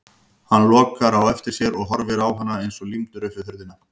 Hann lokar á eftir sér og horfir á hana eins og límdur upp við hurðina.